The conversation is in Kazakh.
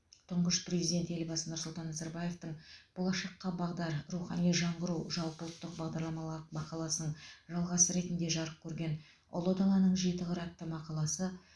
тұңғыш президент елбасы нұрсұлтан назарбаевтың болашаққа бағдар рухани жаңғыру жалпыұлттық бағдарламалық мақаласының жалғасы ретінде жарық көрген ұлы даланың жеті қыры атты мақаласы